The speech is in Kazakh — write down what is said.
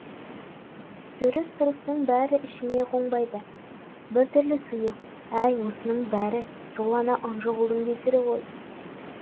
жүріс тұрысының бәрі ішіңе қонбайды біртүрлі сұйық әй осының бәрі сол ана ынжық ұлдың кесірі ғой